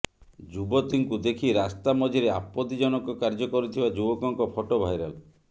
ଯୁବତୀଙ୍କୁ ଦେଖି ରାସ୍ତା ମଝିରେ ଆପତ୍ତିଜନକ କାର୍ଯ୍ୟ କରୁଥିବା ଯୁବକଙ୍କ ଫଟୋ ଭାଇରାଲ